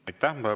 Aitäh!